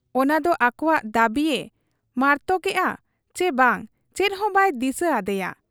ᱚᱱᱟᱫᱚ ᱟᱠᱚᱣᱟᱜ ᱫᱟᱹᱵᱤᱭᱮ ᱢᱟᱨᱛᱚᱠᱮᱜ ᱟ ᱪᱤ ᱵᱟᱝ, ᱪᱮᱫᱦᱚᱸ ᱵᱟᱭ ᱫᱤᱥᱟᱹ ᱟᱫᱮᱭᱟ ᱾